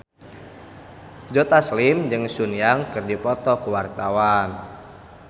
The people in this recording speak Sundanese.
Joe Taslim jeung Sun Yang keur dipoto ku wartawan